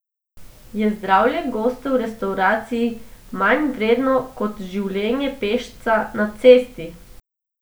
Je zdravje gosta v restavraciji manj vredno kot življenje pešca na cesti?